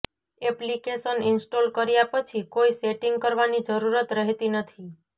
application install કર્યા પછી કોઈ સેટિંગ કરવાની જરૂરત રહેતી નથી